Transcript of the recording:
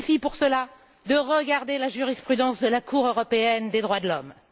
Il suffit pour cela de regarder la jurisprudence de la Cour européenne des droits de l'homme.